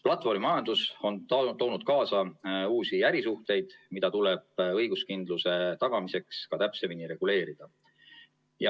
Platvormimajandus on toonud kaasa uusi ärisuhteid, mida tuleb õiguskindluse tagamiseks täpsemini reguleerida.